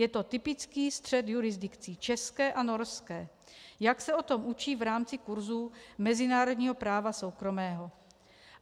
Je to typický střet jurisdikcí české a norské, jak se o tom učí v rámci kurzů mezinárodního práva soukromého.